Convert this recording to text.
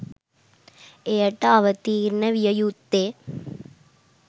එයට අවතීර්ණ විය යුත්තේ